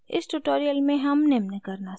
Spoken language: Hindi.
इस tutorial में हम निम्न करना सीखेंगे: